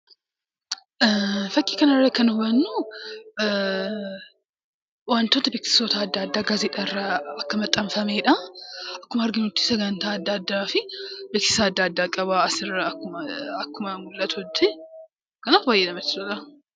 Fakkii kana irraa kan hubannuu waantoota beeksisoota adda addaa gaazexaarraa akka maxxanfamedha. Akkasumas, sagantaa adda addaa fi beeksisa adda addaa qaba asirraa akkuma mul'atutti. Kanaaf baay'ee namatti tola.